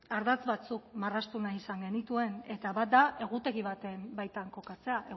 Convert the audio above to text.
ardatz batzuk marraztu izan genituen eta bat da egutegi baten baitan kokatzea